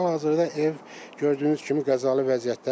Hal-hazırda ev gördüyünüz kimi qəzalı vəziyyətdədir.